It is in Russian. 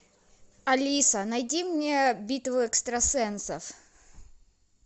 алиса найди мне битву экстрасенсов